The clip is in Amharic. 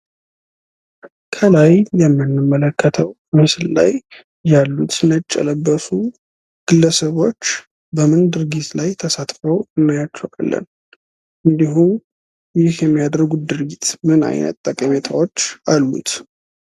ከላይ የምንመለከተው ምስል ላይ ያሉት ነጭ የለበሱ ግለሰቦች በምን ድርጊት ላይ ተሳትፈው እናያቸዋለን? እንዲሁ ይህ የሚያደርጉት ድርጊትስ ምን አይነት ጠቀሜታዎች አሉት?